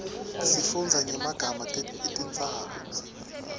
sifundza nyemaga etintsaba